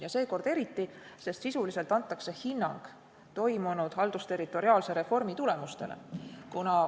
Ja seekord eriti, sest sisuliselt antakse hinnang toimunud haldusterritoriaalse reformi tulemustele.